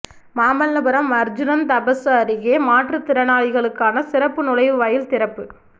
மாமல்லபுரம் அா்ஜுனன் தபசு அருகே மாற்றுத்திறனாளிகளுக்கான சிறப்பு நுழைவு வாயில் திறப்பு